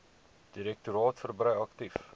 direktoraat verbrei aktief